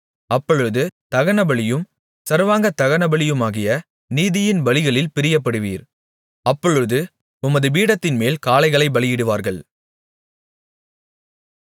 அப்பொழுது தகனபலியும் சர்வாங்க தகனபலியுமாகிய நீதியின் பலிகளில் பிரியப்படுவீர் அப்பொழுது உமது பீடத்தின்மேல் காளைகளைப் பலியிடுவார்கள்